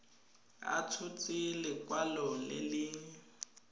a tshotse lekwalo le le